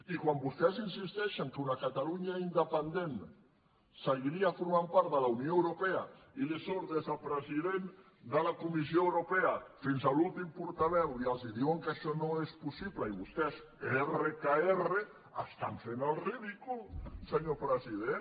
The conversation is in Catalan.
i quan vostès insisteixen que una catalunya independent seguiria formant part de la unió europea i li surt des del president de la comissió europea fins a l’últim portaveu i els diuen que això no és possible i vostès erre que erre estan fent el ridícul senyor president